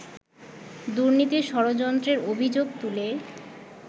দুর্নীতির ষড়যন্ত্রের অভিযোগ তুলে